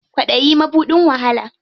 Kwaɗayi mabuɗin wahala.